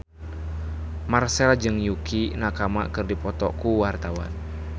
Marchell jeung Yukie Nakama keur dipoto ku wartawan